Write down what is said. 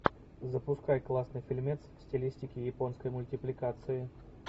запускай классный фильмец в стилистике японской мультипликации